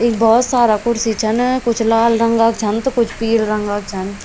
इख भौत सारा कुर्सी छन कुछ लाल रंगाक छन त कुछ पिला रंगाक छन।